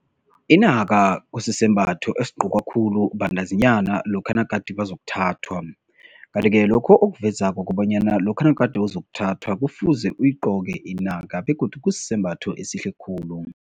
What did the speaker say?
Inaka kusisembatho esigqokwa khulu bantazinyana lokha nagade bazokuthathwa. Kanti-ke lokho okuvezako kobanyana lokha nagade uzakuthathwa kufuze uyigqoke inaka, begodu kusisembatho esihle khulu.